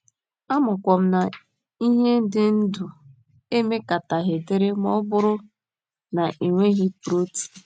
Amakwa m na ihe dị ndụ emekataghị dịrị ma ọ bụrụ na e nweghị protin.